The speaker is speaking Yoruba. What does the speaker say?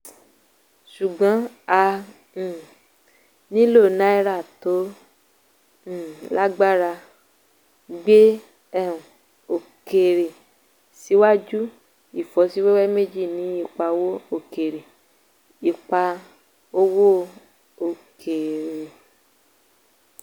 ṣùgbọ́n a um nílò náírà tó um lágbára gbé um òkèèrè síwájú; ìfọ́síwẹ́wẹ́ méjì ní ipa owó òkèèrè. ipa owó òkèèrè.